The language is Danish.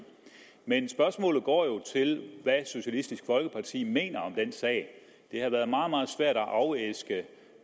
men spørgsmålet går jo på hvad socialistisk folkeparti mener om den sag det har været meget meget svært at afæske